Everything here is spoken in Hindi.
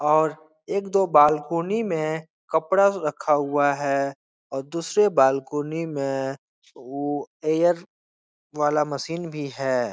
और एक दो बालकोनी में कपडा रखा हुआ है। और दुसरे बालकोनी में वो एयर वाला मशीन भी है।